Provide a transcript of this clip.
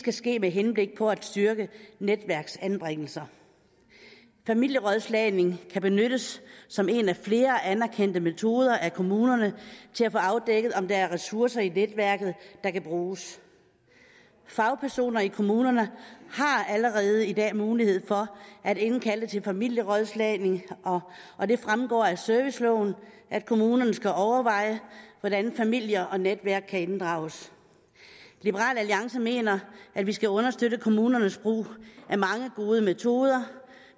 skal ske med henblik på at styrke netværksanbringelser familierådslagning kan benyttes som en af flere anerkendte metoder af kommunerne til at få afdækket om der er ressourcer i netværket der kan bruges fagpersoner i kommunerne har allerede i dag mulighed for at indkalde til familierådslagning og det fremgår af serviceloven at kommunerne skal overveje hvordan familier og netværk kan inddrages liberal alliance mener at vi skal understøtte kommunernes brug af mange gode metoder